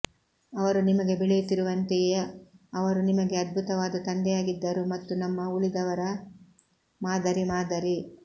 ಅವರು ನಿಮಗೆ ಬೆಳೆಯುತ್ತಿರುವಂತೆಯೇ ಅವರು ನಿಮಗೆ ಅದ್ಭುತವಾದ ತಂದೆಯಾಗಿದ್ದರು ಮತ್ತು ನಮ್ಮ ಉಳಿದವರ ಮಾದರಿ ಮಾದರಿ